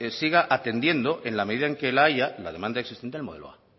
siga atendiendo en la medida en que la haya la demanda existente el modelo a